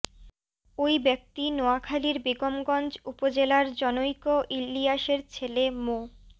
ওই ব্যক্তি নোয়াখালির বেগমগঞ্জ উপজেলার জনৈক ইলিয়াসের ছেলে মো